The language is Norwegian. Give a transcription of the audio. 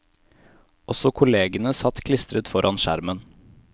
Også kollegene satt klistret foran skjermen.